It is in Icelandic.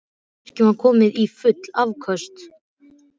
Virkjunin var komin í full afköst